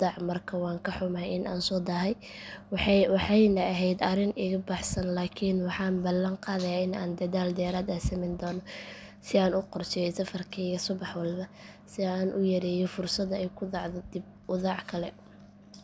dhac iyo jahawareer dadka qaar waxay la kulmaan caqabado ah in aysan si sahlan u fahmin sida loo isticmaalo mareegaha iyo in aysan haysan qalab ama internet degdeg ah sidoo kale xilliyada qaarkood adeegyada qaar waxaa laga helaa oo keliya magaalooyinka waaweyn taasoo dadka ku nool tuulooyinka ka dhigaysa kuwo aan si buuxda uga faa’iidaysan karin balse dhinaca kale dowladda waxay dadaal ugu jirtaa in ay dadka barayso sida loo adeegsado adeegyadaas iyadoo loo marayo wacyigelin taleefan iyo xarumo adeeg degdeg ah marka la eego guud ahaan waxay tahay talaabo wanaagsan oo casri ah balse wali waxaa jira baahi loo qabo in la wanaajiyo xawaaraha jawaabta adeega taageerada farsamada iyo in dadka deegaanka fog la gaarsiiyo adeegyada si loo hubiyo in qof kasta uu si siman ugu faa’iideysan karo